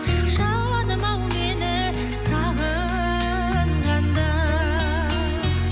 жаным ау мені сағынғанда